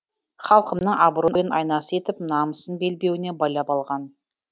халқымның абыройын айнасы етіп намысын белбеуіне байлап алған